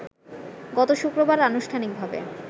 গত শুক্রবার আনুষ্ঠানিকভাবে